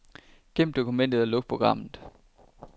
Gem dokumentet og luk programmet.